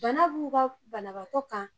Bana b'u ka banabaatɔ kan.